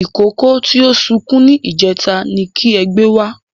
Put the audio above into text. Ìkókó tí ó sunkún ní ìjẹta ni kí ẹ gbé wá